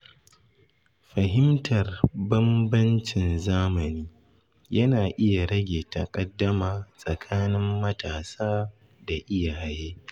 Fahimtar bambancin zamani yana iya rage takaddama tsakanin matasa da iyaye.